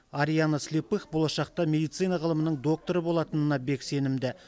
ариана слепых болашақта медицина ғылымының докторы болатынына бек сенімді